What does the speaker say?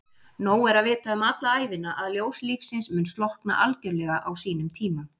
Nóg er að vita alla ævina að ljós lífsins mun slokkna algjörlega á sínum tíma.